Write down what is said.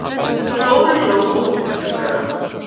Dóri hló ótuktarlega.